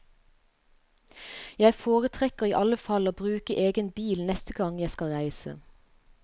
Jeg foretrekker i alle fall å bruke egen bil neste gang jeg skal reise.